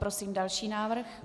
Prosím další návrh.